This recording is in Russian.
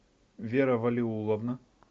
вера валиулловна